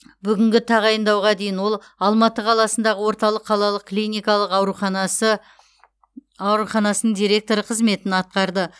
бүгінгі тағайындауға дейін ол алматы қаласындағы орталық қалалық клиникалық ауруханасы ауруханасының директоры қызметін атқарды